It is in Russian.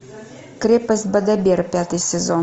крепость бадабер пятый сезон